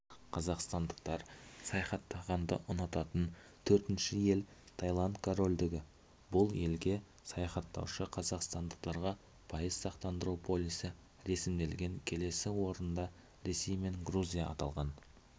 қазақстандықтар саяхаттағанды ұнататын төртінші ел таиланд корольдігі бұл елге саяхаттаушы қазақстандықтарға пайыз сақтандыру полисі ресімделген келесі орында ресей мен грузия аталған